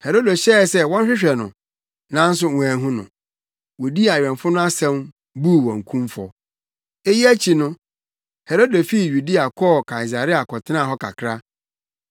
Herode hyɛɛ sɛ wɔnhwehwɛ no, nanso wɔanhu no. Wodii awɛmfo no asɛm, buu wɔn kumfɔ. Eyi akyi no, Herode fii Yudea kɔɔ Kaesarea kɔtenaa hɔ kakra.